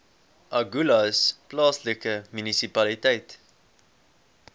agulhas plaaslike munisipaliteit